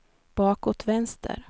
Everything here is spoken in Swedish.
bakåt vänster